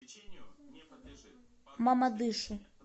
мамадышу